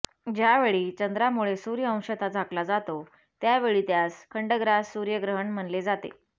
ज्यावेळी चंद्रा मुळे सूर्य अंशतः झाकला जातो त्यावेळी त्यास खंडग्रास सूर्यग्रहण म्हणले जाते